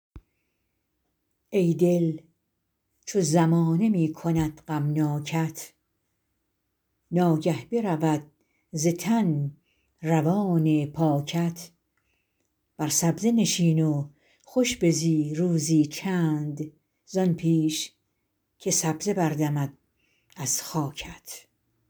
ای دل چو زمانه می کند غمناکت ناگه برود ز تن روان پاکت بر سبزه نشین و خوش بزی روزی چند زآن پیش که سبزه بردمد از خاکت